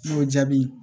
N'o jaabi